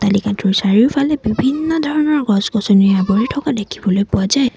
চাৰিওফালে বিভিন্ন ধৰণৰ গছ গছনিয়ে আৱৰি থকা দেখিবলৈ পোৱা যায়।